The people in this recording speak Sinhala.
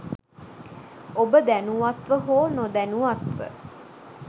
ඔබ දැනුවත්ව හෝ නොදැනුවත්ව